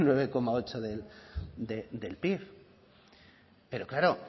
nueve coma ocho del pib pero claro